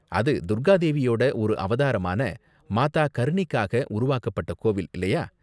அது துர்கா தேவியோட ஒரு அவதாரமான மாதா கர்ணிக்காக உருவாக்கப்பட்ட கோவில் இல்லயா?